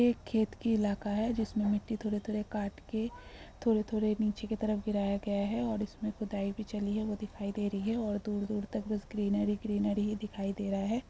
एक खेत का इलाका है। जिसमे मिट्टी थोरे-थोरे काट के थोरे-थोरे नीचे के तरफ गिराया गया है और इसमे खुदाई भी चली है। वो दिखाई दे रही है और दूर-दूर तक बस ग्रीनरी ही ग्रीनरी दिखाई दे रहा है ।